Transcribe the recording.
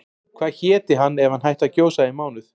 Hvað héti hann ef hann hætti að gjósa í mánuð?